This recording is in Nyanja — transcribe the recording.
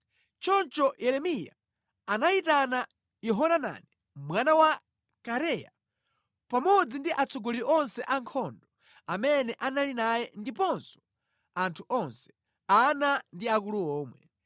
Choncho Yeremiya anayitana Yohanani mwana wa Kareya pamodzi ndi atsogoleri onse a ankhondo amene anali naye ndiponso anthu onse, ana ndi akulu omwe.